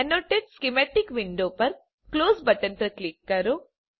annotate schematic window પર close button પર click કરો